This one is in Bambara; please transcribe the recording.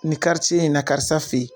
Nin in na karisa feyi.